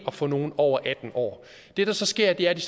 at få nogen over atten år det der så sker er at de